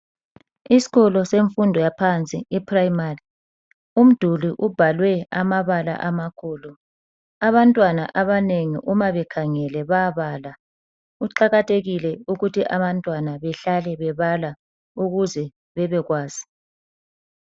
Isikolo semfundo yaphansi eprayimari, umduli ubhalwe amabala amakhulu. Abantwana abanengi uma bekhangele bayabala. Kuqakathekile ukuthi abantwana behlale bebala ukuze bebekwazi.